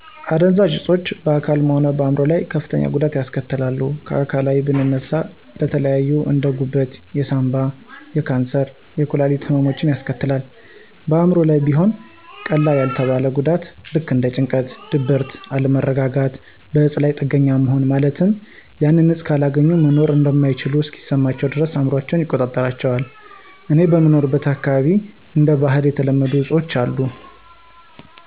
አደንዛዥ እፆች በአካልም ሆነ በአይምሮ ላይ ከፍተኛ ጉዳትን ያስከትላሉ። ከአካላዊ ብንነሳ ለተለያዩ እንደ፦ ጉበት፣ የሳንባ፣ የካንሰር፣ የኩላሊት ህመሞችን ያስከትላል። በአእምሮ ላይም ቢሆን ቀላል ያልተባለ ጉዳትን ልክ እንደ ጭንቀት፣ ድብርትን፣ አለመረጋጋትና በእፁ ላይ ጥገኛ መሆንን ማለትም ያንን እፅ ካላገኙ መኖር እማይችሉ እስከሚመስላቸው ድረስ አእምሯቸውን ይቆጣጠራቸዋል። እኔ በምኖርበት አካባቢ እንደ ባህል የተለመዱ አፆች የሉም።